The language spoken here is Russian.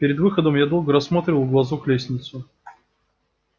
перед выходом я долго рассматривал в глазок лестницу